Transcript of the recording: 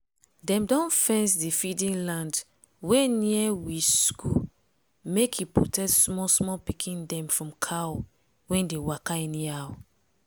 dem don fence d feeding land wey near we skool make e protect small small pikin dem from cow wey dey waka anyhow.